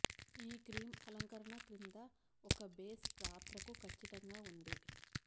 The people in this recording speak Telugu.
ఈ క్రీమ్ అలంకరణ కింద ఒక బేస్ పాత్రకు ఖచ్చితంగా ఉంది